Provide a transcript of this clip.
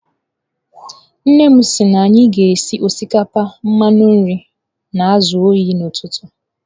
Nnem si na anyi ga esi osikapa mmanụ nri na azu oyi n'ututu.